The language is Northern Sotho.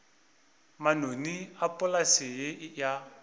manoni a polase ye ya